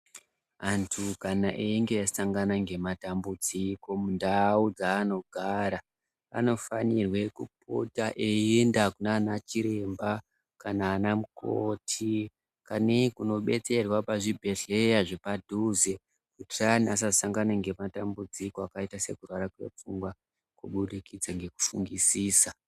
Antu kana einge asangana ngematambudziko mundau dzaanogara anofanirwe kupota eienda kunana chiremba kana anamukoti kanei kunobetserwa pazvibhedhlera zvepadhuze kuti antu asasangana ngematambudziko akaita sekurwara kwepfungwa kuburikidza ngekufungisisa.